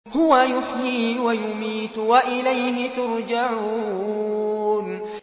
هُوَ يُحْيِي وَيُمِيتُ وَإِلَيْهِ تُرْجَعُونَ